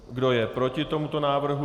Kdo je proti tomuto návrhu?